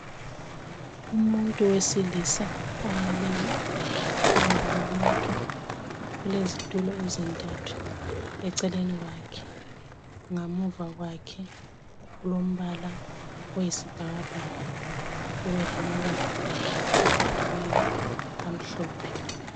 Umuntu wesilisa omileyo phambili kwabantu kulezitulo ezintathu eceleni kwakhe ngamuva kwakhe kulombala oyisibhakabhaka kubelamabala abhaliweyo amhlophe.